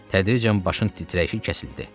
Tədricən başın titrəyişi kəsildi.